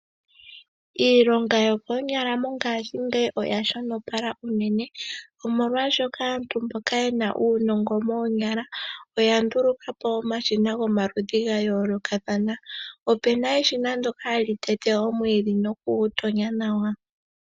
Iilonga yokoonyala mongashingeyi oya shonopala unene molwaashoka aantu mboka ye na uunongo moonyala oya nduluka po omashina gomaludhi gayoolokathana. Opuna eshina ndoka hali tete omwiidhi nokugutonya nawa.